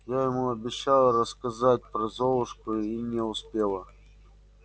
я ему обещала рассказать про золушку и не успела